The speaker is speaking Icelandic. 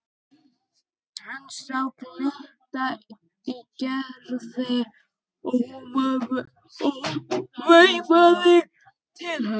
Hann sá glitta í Gerði og hún veifaði til hans.